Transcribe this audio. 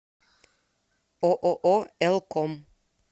ооо эл ком